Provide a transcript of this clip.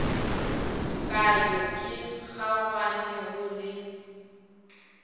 ka yo ke kgaoganego le